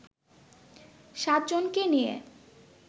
সাতজনকে নিয়ে